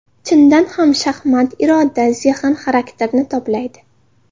Chindan ham, shaxmat iroda, zehn, xarakterni toblaydi.